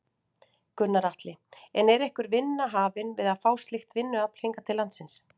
Gunnar Atli: En er einhver vinna hafin við að fá slíkt vinnuafl hingað til landsins?